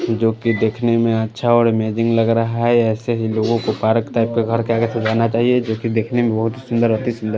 जोकि देखने में अच्छा और अमेजिंग लग रहा है ऐसे ही लोगों को पार्क टाइप के घर के आगे सुझाना चाहिए जोकि देखने में बहुत सुंदर अति सुंदर--